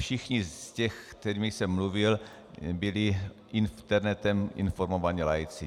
Všichni z těch, se kterými jsem mluvil, byli internetem informovaní laici.